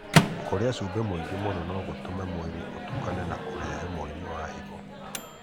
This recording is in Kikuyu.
Kũrĩa cumbĩ mũingĩ mũno no gũtũme mwĩrĩ ũtukane na kũrehe mũrimũ wa higo.